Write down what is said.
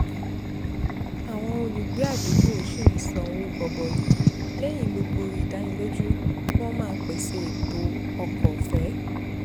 àwọn olùgbé àdúgbò ṣì ń san owó gọbọi lẹ́yìn gbogbo ìdánilójú pé wọ́n máa pèsè ètò ọkọ̀ ọ̀fẹ́